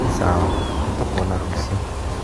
Nĩ sawa nĩtũkona rũciũ